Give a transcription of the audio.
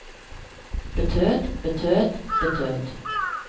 betød betød betød